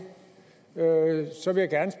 så vil jeg